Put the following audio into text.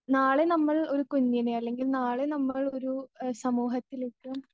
നാളെ നമ്മൾ ഒരു കുഞ്ഞിനെ അല്ലെങ്കിൽ നാളെ നമ്മൾ ഒരു സമൂഹത്തിലേക്ക്.